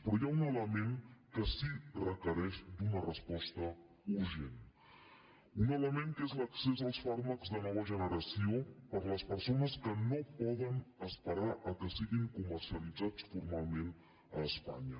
però hi ha un element que sí que requereix una resposta urgent un element que és l’accés als fàrmacs de nova generació per les persones que no poden esperar que siguin comercialitzats formalment a espanya